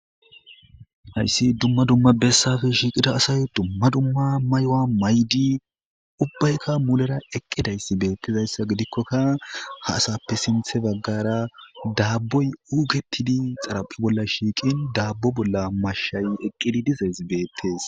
Hayssi dumma dumma bessappe shiiqida asay dumma dumma mayuwa mayidi ubbayka mulera eqqidayssi beetizayssa gidikoka ha asappe sinthe baggara daaboy uuketidi xaraphe bolla shiiqin daabo bolla mashay eqqi dizayssa beetes.